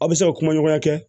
Aw bɛ se ka kumaɲɔgɔnya kɛ